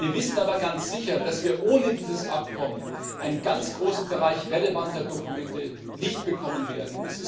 Wir wissen aber ganz sicher, dass wir ohne dieses Abkommen einen großen Bereich relevanter Dokumente nicht bekommen werden.